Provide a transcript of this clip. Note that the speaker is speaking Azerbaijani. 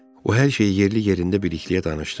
O hər şeyi yerli-yerində Bilikliyə danışdı.